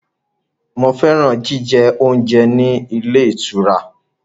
Mo fẹ́ràn jíjẹ oúnjẹ ní ilé ìtura.